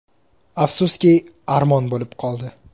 Afsuski, armon bo‘lib qoldi.